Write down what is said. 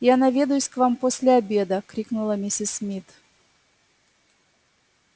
я наведаюсь к вам после обеда крикнула миссис мид